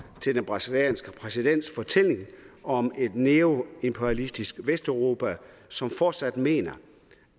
til den brasilianske præsidents fortælling om et neoimperialistisk vesteuropa som fortsat mener